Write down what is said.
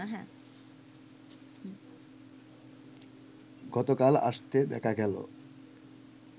গতকাল আসতে দেখা গেল